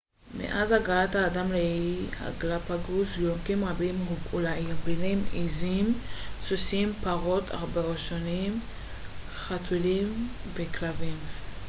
מאז הגעת האדם לאיי הגלאפאגוס יונקים רבים הובאו לאי ביניהם עזים סוסים פרות עכברושים חתולים וכלבים